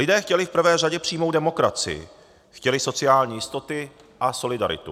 Lidé chtěli v prvé řadě přímou demokracii, chtěli sociální jistoty a solidaritu.